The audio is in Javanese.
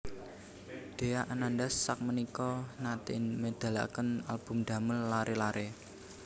Dhea Ananda sakmenika nate medalaken album damel lare lare